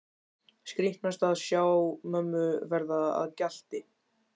Skrítnast að sjá mömmu verða að gjalti.